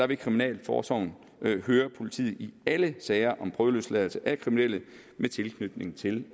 vil kriminalforsorgen høre politiet i alle sager om prøveløsladelse af kriminelle med tilknytning til